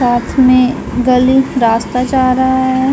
साथ में गली रास्ता जा रहा है।